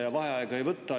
Ja vaheaega ei võta.